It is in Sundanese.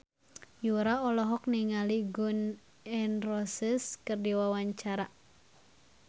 Yura olohok ningali Gun N Roses keur diwawancara